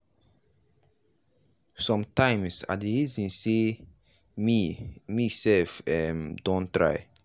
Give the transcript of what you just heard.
sometimes i dey reason sey me me sef um don try.